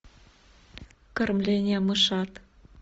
кормление мышат